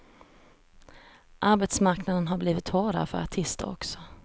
Arbetsmarknaden har blivit hårdare för artister också.